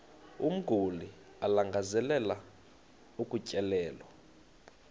umguli alangazelelayo ukutyelelwa